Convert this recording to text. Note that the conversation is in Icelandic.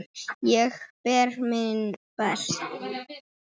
Ég ber minn brest.